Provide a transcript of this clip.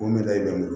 O mele